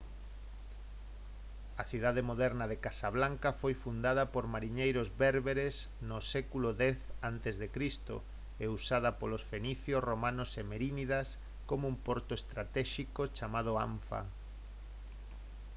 a cidade moderna de casablanca foi fundada por mariñeiros bérberes no século x a c e usada polos fenicios romanos e merínidas como un porto estratéxico chamado anfa